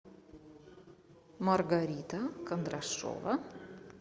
маргарита кондрашова